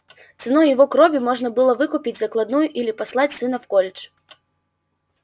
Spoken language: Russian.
ценой его крови можно было выкупить закладную или послать сына в колледж